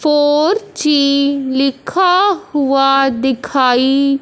four G लिखा हुआ दिखाई--